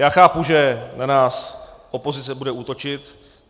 Já chápu, že na nás opozice bude útočit.